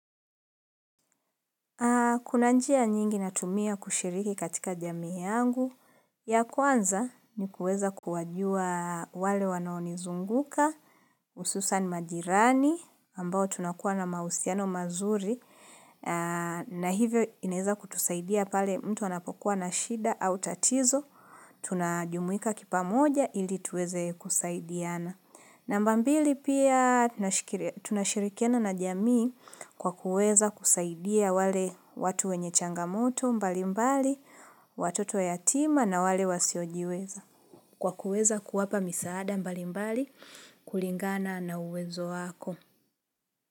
Kuna njia nyingi natumia kushiriki katika jamii yangu. Ya kwanza ni kuweza kuwajua wale wanaonizunguka. Hususan majirani ambao tunakuwa na mahusiano mazuri. Na hivyo ineza kutusaidia pale mtu anapokuwa na shida au tatizo. Tunajumuika kipa moja ili tuweze kusaidiana. Namba mbili pia tunashirikana na jamii kwa kuweza kusaidia wale watu wenye changamoto mbali mbali, watoto wa yatima na wale wasiojiweza. Kwa kuweza kuwapa misaada mbali mbali kulingana na uwezo wako.